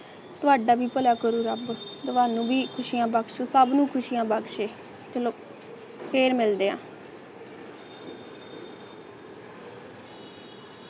ਤੁਹਾਡਾ ਵੀ ਭਲਾ ਕਰੁ ਰੱਬ ਤੁਹਾਨੂੰ ਵੀ ਖੁਸ਼ੀਆ ਬਖਸ਼ ਸਬ ਨੂੰ ਖੁਸ਼ੀਆਂ ਬਖਸ਼ੇ ਚਲੋ ਫਿਰ ਮਿਲਦੇ ਹਾਂ